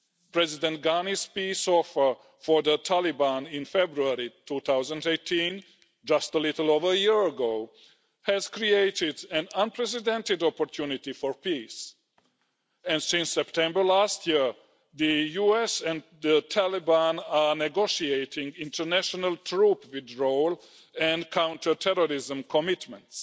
President Ghani's peace offer for the Taliban in February 2018, just a little over a year ago, has created an unprecedented opportunity for peace, and since September last year, the US and the Taliban have been negotiating international troop withdrawals and counter terrorism commitments.